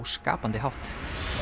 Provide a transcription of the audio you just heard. skapandi hátt